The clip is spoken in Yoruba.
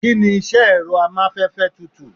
Kini iṣẹ ti ẹrọ amafẹfẹ tutù?